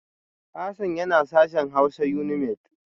Hassan yana sashen Hausa Unimaid